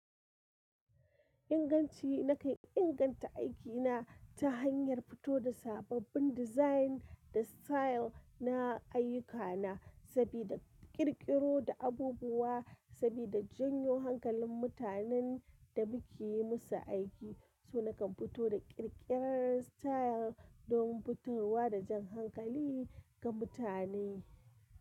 Inganci, na kai inganta aikina, ta hanyar fito da sababbin design, da style, na ayyukana sabida ƙirƙiro da abubuwa, sabida janyo hankalin mutanen, da muke yi musu aiki. So na kan fito da ƙirƙirar style, domin fitarwa da jan hankali, ga mutane.